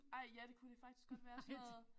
Ej ja det kunne det faktisk godt være sådan noget